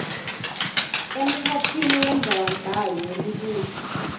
emkhatsini wendzabambhalo nemibuto